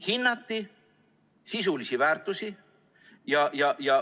Hinnati sisulisi väärtusi.